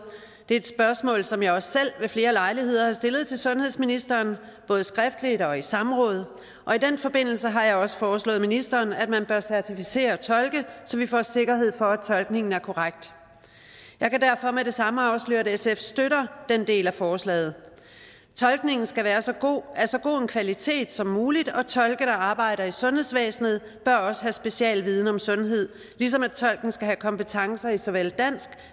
det er et spørgsmål som jeg også selv ved flere lejligheder har stillet til sundhedsministeren både skriftligt og i samråd og i den forbindelse har jeg også foreslået ministeren at man bør certificere tolke så vi får sikkerhed for at tolkningen er korrekt jeg kan derfor med det samme afsløre at sf støtter den del af forslaget tolkningen skal være af så god en kvalitet som muligt og tolke der arbejder i sundhedsvæsenet bør også have specialviden om sundhed ligesom tolken skal have kompetencer i såvel dansk